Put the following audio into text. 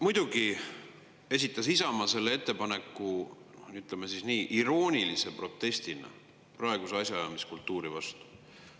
Muidugi esitas Isamaa selle ettepaneku, ütleme nii, iroonilise protestina praeguse asjaajamiskultuuri vastu.